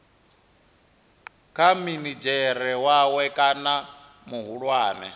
kha minidzhere wawe kana muhulwane